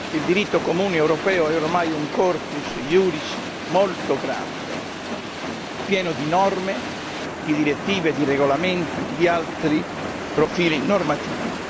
Il diritto comune europeo è ormai un corpus juris molto grande, pieno di norme, di direttive, di regolamenti, di altri profili normativi.